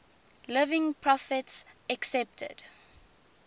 living prophets accepted